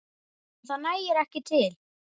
En það nægi ekki til.